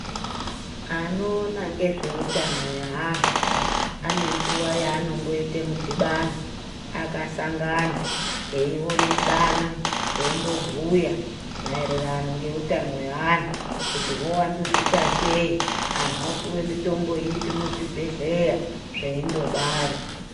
Anoona ngezveutano weandu ane nguwa yaanomboita mudhibano akasangana , eionesana , eimbobhuya maererano ngeutano weandu kuti hwowandudzika sei anhu opuwe mitombo ipi muzvibhedhleya zveindodaro